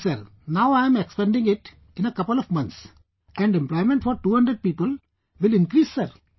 ji sir...now I am expanding it in a couple of months and employment for 200 people will increase sir